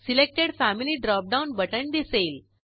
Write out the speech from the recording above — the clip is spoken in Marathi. सिलेक्टेड फॅमिली ड्रॉपडाऊन बटण दिसेल